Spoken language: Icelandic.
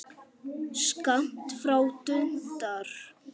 Skammt frá dundar